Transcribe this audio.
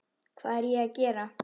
Hvað er ég að gera?